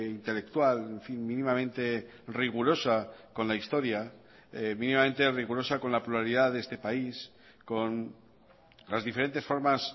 intelectual mínimamente rigurosa con la historia mínimamente rigurosa con la pluralidad de este país con las diferentes formas